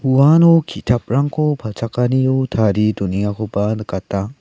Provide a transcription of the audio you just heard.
uano kitaprangko palchakanio tarie donengakoba nikata.